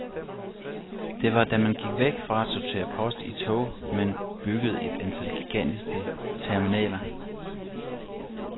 Det var da man gik væk fra at sortere post i tog, men byggede et antal gigantiske terminaler.